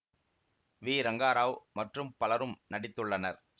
we Rangarao மற்றும் பலரும் நடித்துள்ளனர்